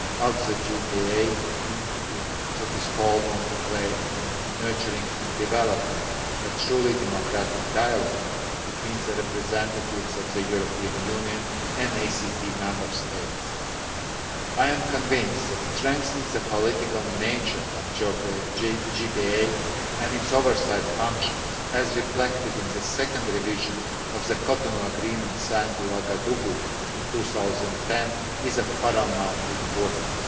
that the JPA has to play in nurturing and developing a truly democratic dialogue between the representatives of the European Union and ACP member states. I am convinced that strengthening the political nature of the JPA and its oversight functions as reflected in the second revision of the Cotonou Agreement signed in Ouagadougou in 2010 is of paramount importance.